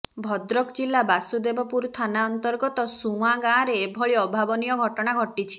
ଭଦ୍ରକ ଜିଲ୍ଲା ବାସୁଦେବପୁର ଥାନା ଅନ୍ତର୍ଗତ ସୁଆଁ ଗାଁରେ ଏଭଳି ଅଭାବନୀୟ ଘଟଣା ଘଟିଛି